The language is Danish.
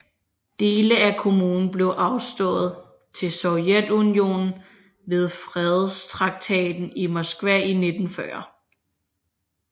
Dele af kommunen blev afstået til Sovjetunionen ved Fredstraktaten i Moskva i 1940